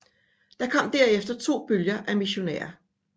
Der kom derefter to bølger af missionærer